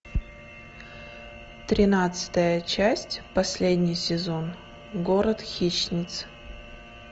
тринадцатая часть последний сезон город хищниц